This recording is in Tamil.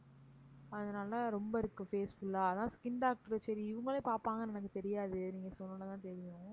அதனால ரொம்ப இருக்கு face full ஆ அதான் skin doctor சரி இவங்களே பாப்பாங்கன்னு எனக்கு தெரியாது நீங்க சொன்ன உடனே தான் தெரியும்